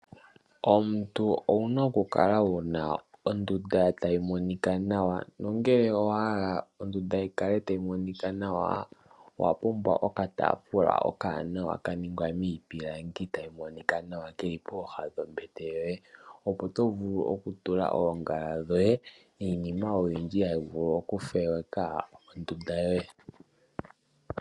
Omuntu owu na okukala wu na ondunda tayi monika nawa nongele owa hala ondunda yi kale tayi monika nawa owa pumbwa okataafula okawanawa ka ningwa miipilangi tayi monika nawa ke li pooha dhombete yoye, opo to vulu okutula oongala dhoye niinima oyindji hayi vulu okupoleka ondunda yoye.